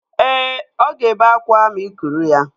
Ee, ọ ga-ebe akwa ma ị kuru ya